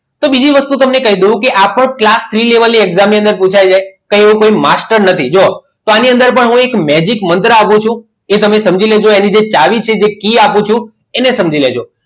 તો બીજી વસ્તુ તમને કહી દઉં કે આ પણ class થ્રી level ની exam ની અંદર પુછાઈ જાય કે એનું કોઈ master નથી જોવો તો આની અંદર પણ હું મેજીક મુદ્રા આપું છું કે તમે સમજી લેજો એની જે ચાવી છે એ કી આપું છું એને સમજી લેજો